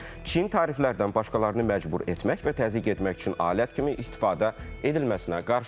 Çin təriflərdən başqalarını məcbur etmək və təzyiq etmək üçün alət kimi istifadə edilməsinə qarşıdır.